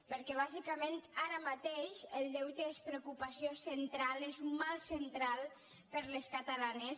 perquè bàsicament ara mateix el deute és preocupació central és un mal central per a les catalanes